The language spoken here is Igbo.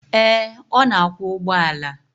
Ee, ọ na akwọ ụgbọala.